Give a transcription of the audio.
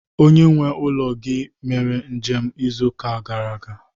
onye nwe ulo gi mere njem izu uka gara aga?